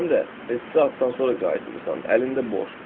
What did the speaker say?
Sən də neçə saatdan sonra qayıtmısan, əlində boş.